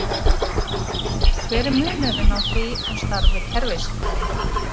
Hver er munurinn á því og starfi kerfisfræðinga?